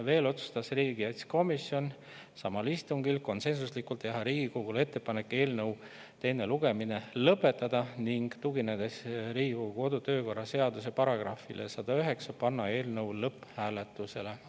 Veel otsustas riigikaitsekomisjon samal istungil konsensuslikult teha Riigikogule ettepaneku eelnõu teine lugemine lõpetada, ning tuginedes Riigikogu kodu- ja töökorra seaduse §-le 109, panna eelnõu lõpphääletusele.